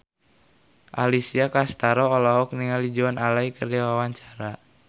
Alessia Cestaro olohok ningali Joan Allen keur diwawancara